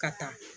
Ka taa